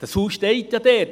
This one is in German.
Das Haus steht ja dort;